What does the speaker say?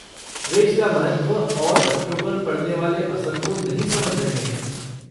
वे इसका महत्व और बच्चों पर पड़ने वाले असर को नहीं समझ रहे हैं।